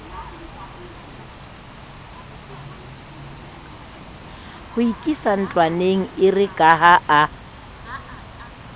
ho ikisa ntlwaneng erekaha a